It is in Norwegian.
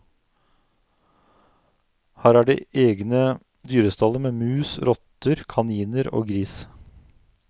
Her er det egne dyrestaller med mus, rotter, kaniner og gris.